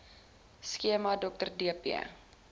skema dr dp